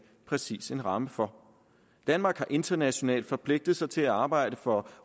præcis en ramme for danmark har internationalt forpligtet sig til at arbejde for